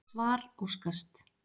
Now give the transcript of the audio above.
Svar óskast.